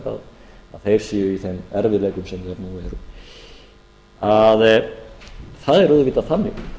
að þeir séu í þeim erfiðleikum sem þeir eru nú eru það er auðvitað þannig